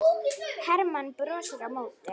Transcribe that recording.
Hermann brosti á móti.